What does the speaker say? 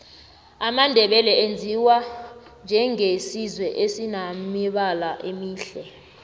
amandebele aziwa njenge sizwe esinemibala emihle